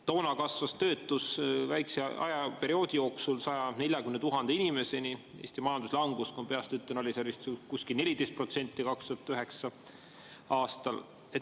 Toona kasvas töötus väikese ajaperioodi jooksul 140 000 inimeseni, Eesti majanduslangus, ma peast ütlen, oli 2009. aastal vist kuskil 14%.